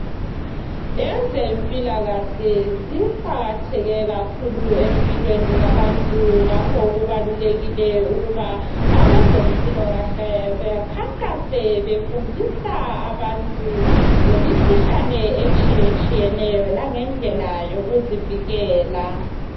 Ezempilakahle ziqakatheke kakhulu empilweni yabantu ngakho kubalulekile ukuba abazempilokahle bekhankase befundisa abantu ngemikhuhlane etshiyetshiyeneyo langendlela yokuzivikela.